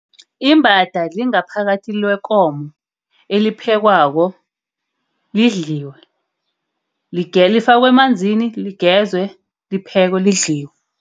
Imbada, lingaphakathi lekomo. Eliphekwako, lidliwe. Lifakwe emanzini ligezwe. Liphekwe lidliwe.